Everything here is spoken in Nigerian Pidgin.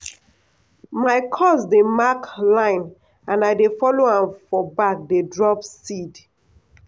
my cuz dey mark line and i dey follow am for back dey drop seed.